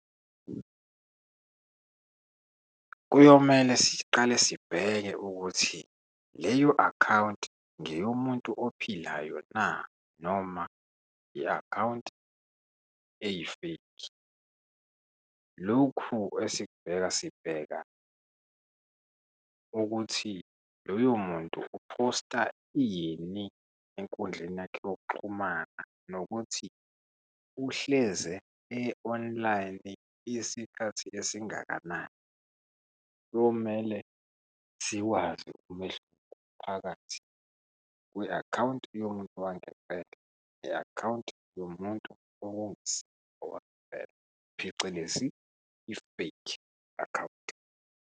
Kuyomele siqale sibheke ukuthi leyo akhawunti ngeyomuntu ophilayo na, noma i-akhawunti eyi-fake. Lokhu esibheka, sibheka ukuthi loyo muntu uphosta ini, enkundleni yakhe yokuxhumana nokuthi uhleze e-online isikhathi esingakanani. Kuyomele siwazi umehluko phakathi kwe-akhawunti yomuntu wangempela ne-akhawunti yomuntu okungasi owangempela, phecelezi i-fake akhawunti.